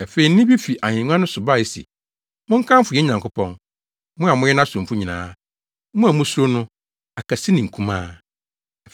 Afei nne bi fi ahengua no so bae se, “Monkamfo yɛn Nyankopɔn, mo a moyɛ nʼasomfo nyinaa, mo a musuro no, akɛse ne nkumaa!”